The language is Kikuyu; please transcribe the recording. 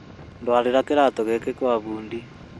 Ndwarĩra kĩratũ gĩkĩ gwa fundi